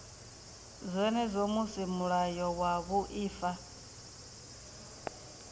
zwenezwo musi mulayo wa vhuaifa